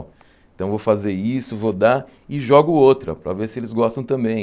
Então, vou fazer isso, vou dar e jogo outra, para ver se eles gostam também.